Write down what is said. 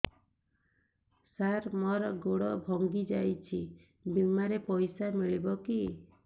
ସାର ମର ଗୋଡ ଭଙ୍ଗି ଯାଇ ଛି ବିମାରେ ପଇସା ମିଳିବ କି